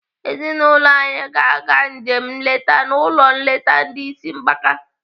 Ezinaụlọ anyị ga-aga njem nleta n'ụlọ nleta ndị ịsị mgbaka.